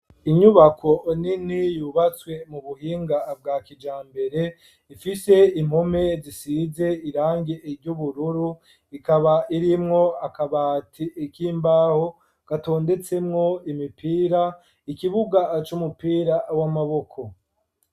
Inyubako nini yubatswe mu buhinga bwa kijambere ifise impume zisize irange iry'ubururu ikaba irimwo akabati ik'imbaho gatondetsemwo imipira ikibuga c'umupira w'amaboko.